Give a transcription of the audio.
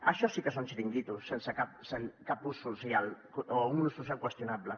això sí que són xiringuitos sense cap ús social o un ús social qüestionable